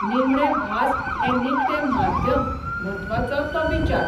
निमणे भास हें निखटें माध्यम म्हत्वाचो तो विचार.